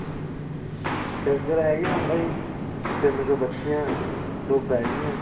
ਡੰਗਰ ਹੈਗੇ ਆ ਬਾਈ ਤਿੰਨ ਕੁ ਬੱਛੀਆਂ ਦੋ ਬੈੜੀਆਂ